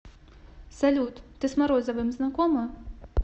салют ты с морозовым знакома